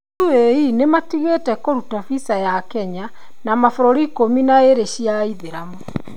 UAE nĩmatigvte kũrũta visa ya Kenya na mabũrũri ikũmi na ĩĩri cia aithilamu